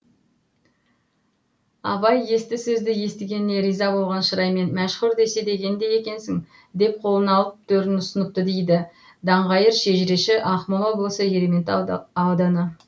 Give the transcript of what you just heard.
абай есті сөзді естігеніне риза болған шыраймен мәшһүр десе дегендей екенсің деп қолын алып төрін ұсыныпты дейді даңғайыр шежіреші ақмола облысы ерейментау ауданы